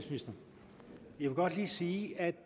vil godt lige sige